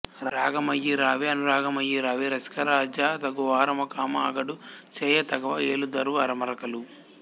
రాగమయీ రావే అనురాగమయీ రావే రసికరాజ తగువారముకామా అగడు సేయ తగవా ఏలుదొరవు అరమరకలు